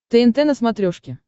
тнт на смотрешке